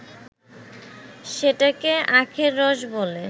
সেটাকে আখের রস বলে